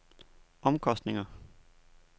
omkostninger